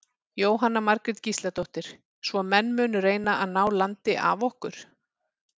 Jóhanna Margrét Gísladóttir: Svo menn munu reyna að ná landi af okkur?